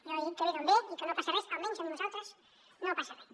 jo he dit que ve d’on ve i que no passa res almenys amb nosaltres no passa res